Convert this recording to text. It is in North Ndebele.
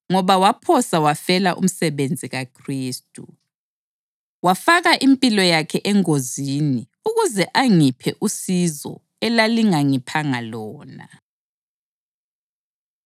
ngoba waphosa wafela umsebenzi kaKhristu, wafaka impilo yakhe engozini ukuze angiphe usizo elingangiphanga lona.